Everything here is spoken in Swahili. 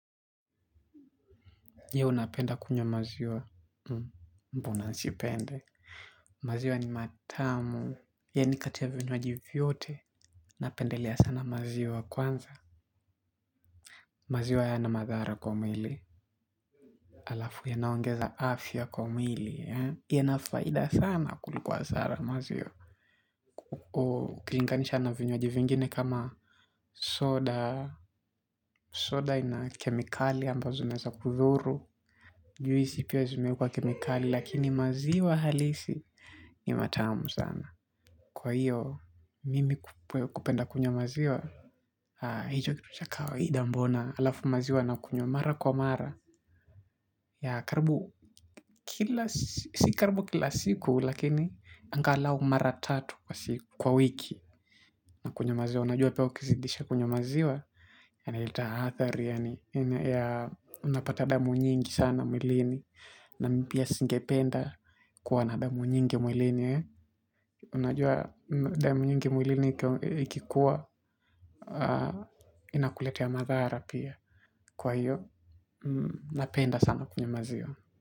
Je unapenda kunywa maziwa? Mbona nisipende maziwa ni matamu. Yani kati ya vinywaji vyote napendelea sana maziwa kwanza. Maziwa hayana madhara kwa mwili halafu yanaongeza afya kwa mwili. Yana faida sana kuliko hasara maziwa ukilinganisha na vinywaji zingine kama soda. Soda ina kemikali ambazo zinaeza kudhuru. Juisi pia zimeekwa kemikali. Lakini maziwa halisi ni matamu sana. Kwa hiyo, mimi kupenda kunywa maziwa. Hicho kitu cha kawaida mbona halafu maziwa nakunywa mara kwa mara. Ya karibu kila si karibu kila siku. Lakini angalau mara tatu kwa siku kwa wiki. Na kunywa maziwa. Unajua pia ukizidisha kunywa maziwa yana tahathari. Unapata damu nyingi sana mwilini. Na mi pia singependa kuwa na damu nyingi mwilini. Unajua damu nyingi mwilini ikikuwa inakuletea madhara pia. Kwa hiyo, napenda sana kunywa maziwa.